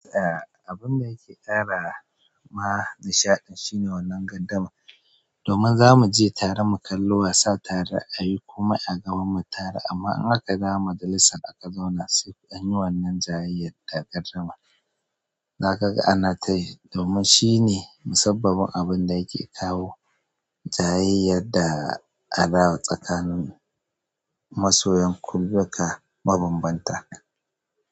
Eh, abun da yake ƙara ma nishaɗi shine wannan gardama. Domin zamu je tare mu kalla wasa tare a yi kuma a ganmu tare. Amma in aka dawo majalisa aka zauna sai an yi wannan jayayyar da gardama, zaka ga ana tayi. Domin shine musabbabin abun da yake kawo jayayyar da a da tsakanin masoyan kulubuka mabambanta.